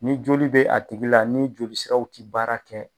Ni joli bɛ a tigi la ni joli siraw tɛ baara kɛ